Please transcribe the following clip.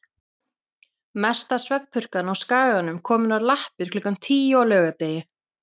Mesta svefnpurkan á Skaganum komin á lappir klukkan tíu á laugardegi.